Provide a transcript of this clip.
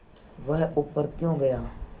वह ऊपर क्यों गया